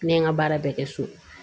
Ne ye n ka baara bɛɛ kɛ so